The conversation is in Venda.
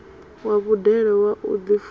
wa vhudele wa u ḓifuna